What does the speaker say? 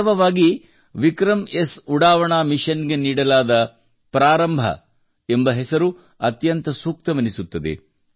ವಾಸ್ತವವಾಗಿ ವಿಕ್ರಮ್ಎಸ್ ಉಡಾವಣಾ ಮಿಷನ್ ಗೆ ನೀಡಲಾದ ಪ್ರಾರಂಭ ಎಂಬ ಹೆಸರು ಅತ್ಯಂತ ಸೂಕ್ತವೆನ್ನಿಸುತ್ತದೆ